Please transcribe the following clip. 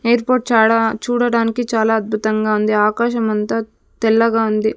Airport చాడా చూడడానికి చాలా అద్భుతంగా ఉంది ఆకాశమంత తెల్లగా ఉంది.